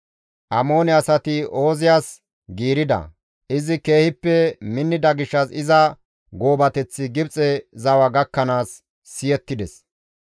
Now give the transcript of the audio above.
Amoone asati Ooziyas giirida; izi keehippe minnida gishshas iza goobateththi Gibxe zawa gakkanaas siyettides.